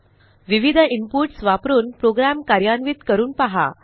विविध इनपुट्स वापरून प्रोग्रॅम कार्यान्वित करून पहा